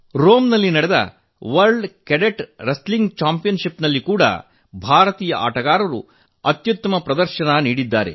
Rome ನಲ್ಲಿ ನಡೆದ ವಿಶ್ವ ಕೆಡೆಟ್ ಕುಸ್ತಿ ಚಾಂಪಿಯನ್ ಷಿಪ್ ನಲ್ಲೂ ಭಾರತೀಯ ಆಟಗಾರರು ಅತ್ಯುತ್ತಮ ಪ್ರದರ್ಶನ ನೀಡಿದ್ದಾರೆ